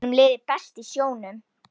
Honum liði best í sjónum.